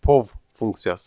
Pow funksiyası.